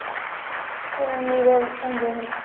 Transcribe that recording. new year enjoy ହେଲା